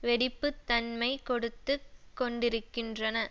வெடிப்பு தன்மை கொடுத்து கொண்டிருக்கின்றன